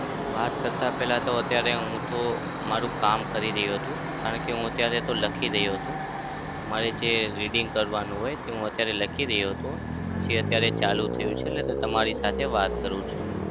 વાત કરતા પહેલા તો અત્યારે હું તો મારું કામ કરી રહ્યો હતો. કારણ કે હું અત્યારે તો લખી રહ્યો હતો. મારે જે reading કરવાનું હોય તે અત્યારે લખી રહ્યો હતો. પછી અત્યારે ચાલુ થયું છે એટલે તમારી સાથે વાત કરું છું.